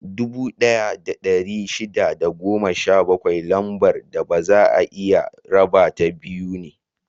Dubu ɗaya da ɗari shida da goma sha biyar Lambar da baza a iya rabata biyu ne.